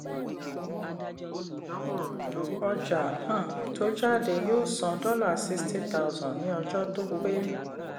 ọjà um tó jáde yóò san dollar sixty thousand ní ọjọ́ tó pé.